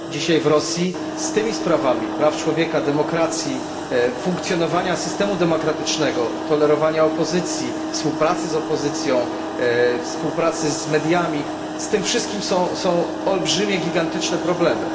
Dzisiaj w Rosji z tymi sprawami dotyczącymi praw człowieka, demokracji, funkcjonowania systemu demokratycznego, tolerowania opozycji, współpracy z opozycją, współpracy z mediami z tym wszystkim są olbrzymie, gigantyczne problemy.